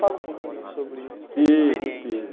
Fala um pouquinho sobre Tive tive Essa experiência.